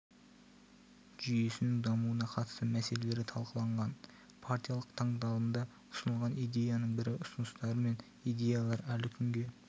жүйесінің дамуына қатысты мәлеселері талқыланған партиялық тыңдалымда ұсынылған идеяның бірі ұсыныстар мен идеялар әлі күнге